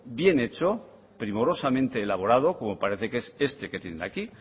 bien hecho primorosamente elaborado como parece que es este que tienen aquí